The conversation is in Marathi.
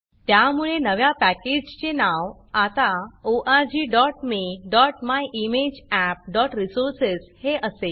त्यामुळे नव्या पॅकेजचे नाव आता orgmemyimageappरिसोर्सेस हे असेल